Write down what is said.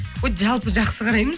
жалпы жақсы қараймыз